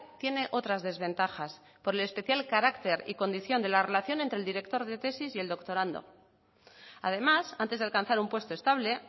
tiene otras desventajas por el especial carácter y condición de la relación entre el director de tesis y el doctorando además antes de alcanzar un puesto estable